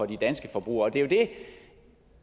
de danske forbrugere